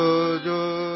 जोजोजोजो